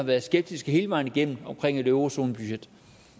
været skeptiske hele vejen igennem omkring et eurozonebudget